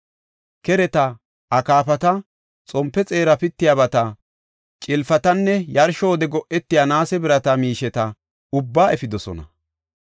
Kereta, akaafata, xompe xeera pittiyabata, cilpatanne yarsho wode go7etiya naase birata miisheta ubbaa efidosona.